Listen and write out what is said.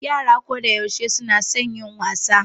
Yara kodayaushe suna son yin wasa.